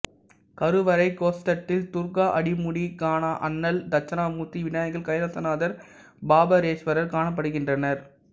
கருவறை கோஷ்டத்தில் துர்க்கா அடிமுடி காணா அண்ணல் தட்சிணாமூர்த்தி விநாயகர் கைலாசநாதர் பாபஹரேஸ்வரர் காணப்படுகின்றனர்